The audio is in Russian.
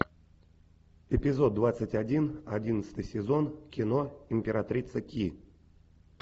эпизод двадцать один одиннадцатый сезон кино императрица ки